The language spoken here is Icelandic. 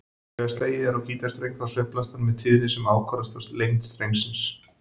Þegar slegið er á gítarstreng þá sveiflast hann með tíðni sem ákvarðast af lengd strengsins.